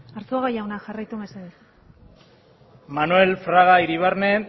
arzuaga jauna jarraitu mesedez manuel fraga iribarne